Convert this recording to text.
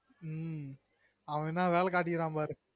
ம்ம் அவஎன்னா வேல காட்டிருகான் பாரு